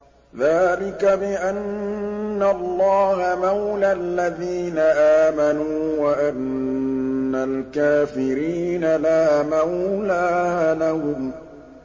ذَٰلِكَ بِأَنَّ اللَّهَ مَوْلَى الَّذِينَ آمَنُوا وَأَنَّ الْكَافِرِينَ لَا مَوْلَىٰ لَهُمْ